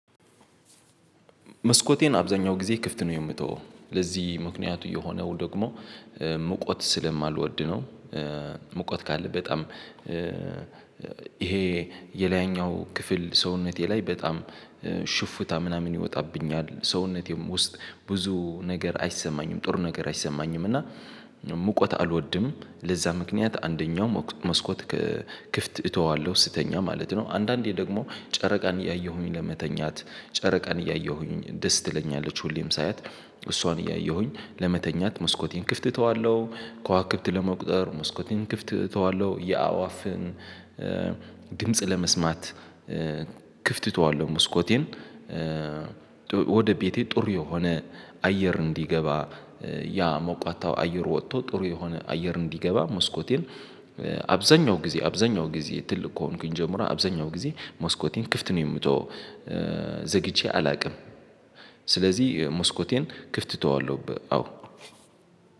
መስኮቴን አብዛኛው ጊዜ ክፍት ነው የምተው። ለዚህ ምክንያቱ የሆነው ደግሞ ሙቀት ስለማልወድ ነው። ሙቀት ካለ በጣም ይሄ የላይኛው ክፍል ሰውነቴ ላይ በጣም ሽፍታ ምናምን ይወጣብኛል። ሰውነቴም ውስጥ ብዙ ነገር አይሰማኝም ጥሩ ነገር አይሰማኝም። እና ሙቀት አልወድም። ለዛ ምክንያት አንደኛው መስኮት ክፍት እተዋለሁ ስተኛ ማለት ነው። አንዳንዴ ደግሞ ጨረቃን እያየሁኝ ለመተኛት ጨረቃን እያየሁኝ ደስ ትለኛለች ሁሌም ሳያት እሷን እያየሁኝ ለመተኛት መስኮቴን ክፍት እተዋለሁ። ከዋክብት ለመቁጠር መስኮቴን ክፍት እተዋለሁ። የአዋፍን ድምጽ ለመስማት ክፍት ተዋለው መስኮቴን። ወደ ቤቴ ጥሩ የሆነ አየር እንዲገባ ያ ሞቋታው አየሩ ወጥቶ ጥሩ የሆነ አየር እንዲገባ መስኮቴን አብዛኛው ጊዜ አብዛኛው ጊዜ ትልቅ ከሆንኩኝ ጀምሮ አብዛኛው ጊዜ ሞስኮቴን ክፍት ነው የምትተው ዘግቼ አላውቅም። ስለዚህ መስኮቴን ክፍት ተወዋለሁ ብ አዎ።